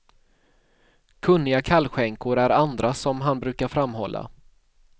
Kunniga kallskänkor är andra som han brukar framhålla.